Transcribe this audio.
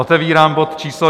Otevírám bod číslo